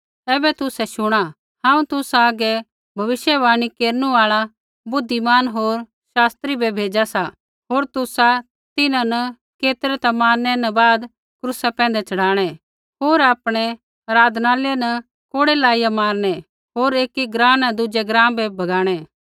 ऐबै तुसै शुणा हांऊँ तुसा हागै भविष्यवाणी केरनु आल़ा बुद्धिमान होर शास्त्री बै भेज़ा सा होर तुसा तिन्हां न केतरै ता मारनै न बाद क्रूसा पैंधै च़ढ़ाणै होर आपणै आराधनालय न कोड़ै लाइया मारनै होर एकी ग्राँ न दुज़ै ग्राँ बै भगाणै